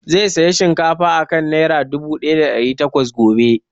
Zai saya shinkafa a kan nera dubu ɗaya da ɗari takwas gobe